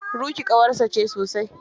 Ruky ƙawarsa ce sosai.